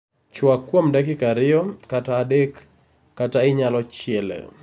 Chwak kuom dakika ariyo kata adek kata inyalo chiele